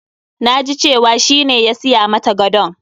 Na ji cewa shi ne ya siya mata gadon.